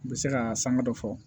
N bɛ se ka sanga dɔ fɔ